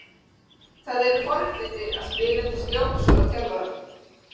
Það eru forréttindi að spila undir stjórn svona þjálfara.